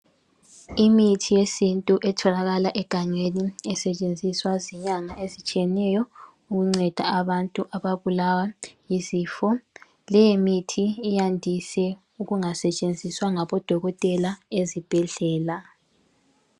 Imithi yesintu etholakala egangeni esetshenziswa zinyanga ezitshiyeneyo ukunceda abantu ababulawa yizifo . Leyimithi iyandise ukungasetshenziswa ngabodokotela ezibhedlela.